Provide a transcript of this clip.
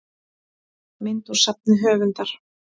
mynd úr safni höfundar